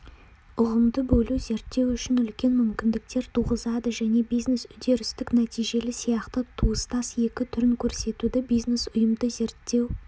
ұғымды бөлу зерттеу үшін үлкен мүмкіндіктер туғызады және бизнес-үдерістік-нәтижелі сияқты туыстас екі түрін көрсетуді бизнес-ұйымды зерттеу